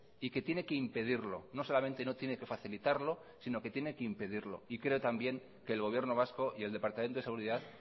y que tiene que impedirlo no solamente no tiene que facilitarlo sino que tiene que impedirlo y creo también que el gobierno vasco y el departamento de seguridad